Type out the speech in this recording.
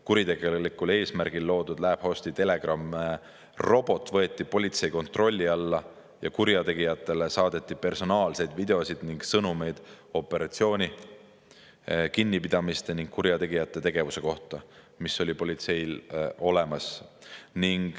Kuritegelikul eesmärgil loodud LabHosti Telegrami robot võeti politsei kontrolli alla ning kurjategijatele saadeti personaalseid videoid ja sõnumeid operatsiooni, kinnipidamiste ning kurjategijate tegevuse kohta, mis oli politseil olemas.